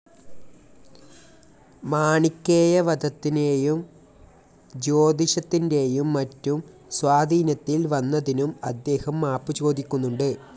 മാണിക്കേയ വധത്തിനെയും ജ്യോതിഷത്തിൻ്റെയും മറ്റും സ്വാധീനത്തിൽ വന്നതിനും അദ്ദേഹം മാപ്പു ചോദിക്കുന്നുണ്ട്.